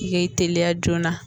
I k'i teliya joona